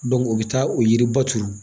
o bɛ taa o yiri baturu